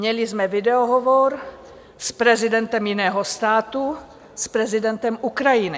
Měli jsme videohovor s prezidentem jiného státu, s prezidentem Ukrajiny.